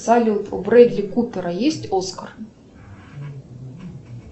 салют у бредли купера есть оскар